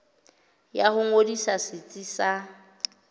ya ho ngodisa setsi sa